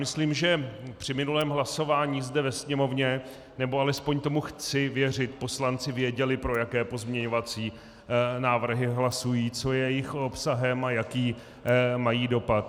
Myslím, že při minulém hlasování zde ve Sněmovně, nebo alespoň tomu chci věřit, poslanci věděli, pro jaké pozměňovací návrhy hlasují, co je jejich obsahem a jaký mají dopad.